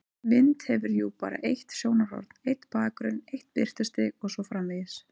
Mynd hefur jú bara eitt sjónarhorn, einn bakgrunn, eitt birtustig og svo framvegis.